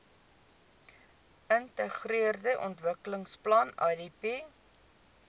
geintegreerde ontwikkelingsplan idp